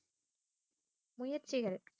முயற்சிகள்